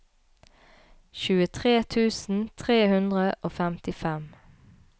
tjuetre tusen tre hundre og femtifem